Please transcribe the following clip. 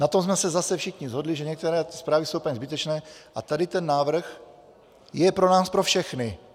Na tom jsme se zase všichni shodli, že některé zprávy jsou úplně zbytečné, a tady ten návrh je pro nás pro všechny.